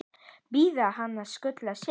Biðja hann að skutla sér?